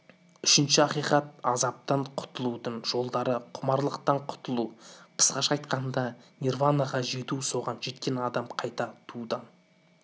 үшінші ақиқат азаптан құтылудың жолдары құмарлықтан құтылу қысқаша айтқанда нирванаға жету соған жеткен адам қайта туудан